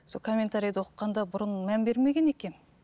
сол комментариді оқығанда бұрын мән бермеген екенмін